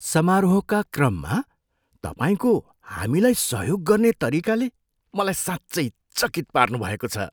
समारोहका क्रममा तपाईँको हामीलाई सहयोग गर्ने तरिकाले मलाई साँच्चै चकित पार्नुभएको छ!